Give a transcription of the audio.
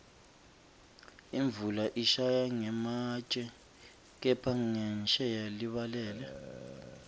imvula ishaya ngematje kepha ngensheya libalele